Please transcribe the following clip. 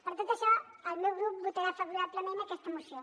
per tot això el meu grup votarà favorablement aquesta moció